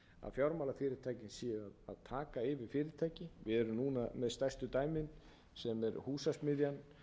yfir fyrirtæki við erum núna með stærstu dæmin sem er húsasmiðjan